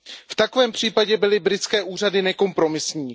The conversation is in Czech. V takovém případě byly britské úřady nekompromisní.